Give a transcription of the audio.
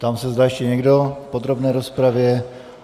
Ptám se, zda ještě někdo v podrobné rozpravě.